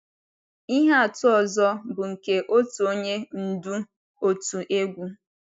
Ihe atụ ọzọ bụ nke otu onye ndú òtù egwú.